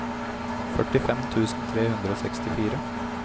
førtifem tusen tre hundre og sekstifire